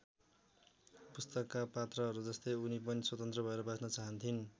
पुस्तकका पात्रहरूजस्तै उनी पनि स्वतन्त्र भएर बाँच्न चाहन्थिइन्।